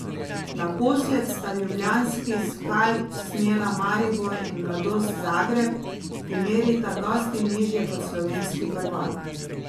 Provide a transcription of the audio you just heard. Naposled sta ljubljanski skalp snela Maribor in Mladost Zagreb, ki merita dosti nižje kot slovenski prvak.